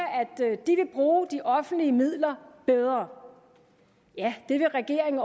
de vil bruge de offentlige midler bedre ja det vil regeringen